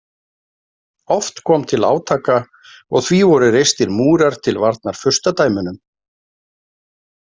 Oft kom til átaka og því voru reistir múrar til varnar furstadæmunum.